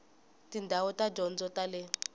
tindhawu ta tidyondzo ta le